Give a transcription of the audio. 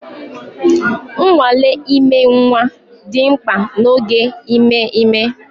Nnwale ime nwa dị mkpa n'oge ime ime